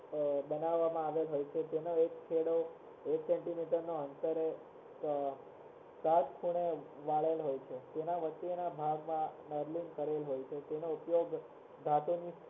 બનાવામાં આવેલ હોય છે તેને એક છેડો એક સેન્ટીમીટર ના અંતરે આ વળેલા હોય છે તેના વચ્ચેના ભાગમાં તેનો ઉપયોગ ધાતુની